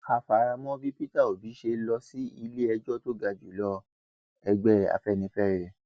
a fara mọ bí peter obi ṣe lọ sí iléẹjọ tó ga jù lọẹgbẹ afẹnifẹre